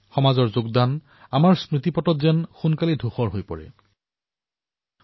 কিন্তু কেতিয়াবা এনেও হয় যে সমাজৰ প্ৰয়াস তেওঁলোকৰ যোগদান স্মৃতিপটৰ পৰা অতি সোনকালে মচ খায়